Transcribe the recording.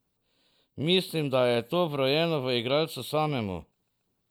Mislim, da je to vrojeno v igralcu samemu.